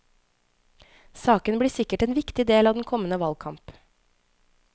Saken blir sikkert en viktig del av den kommende valgkamp.